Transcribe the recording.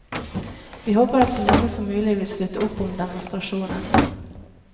Vi håper at så mange som mulig vil slutte opp om demonstrasjonen.